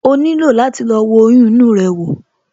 O nílò láti lọ wo oyún inú rẹ wò